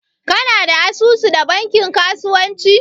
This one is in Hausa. kana da asusu da bankin kasuwanci?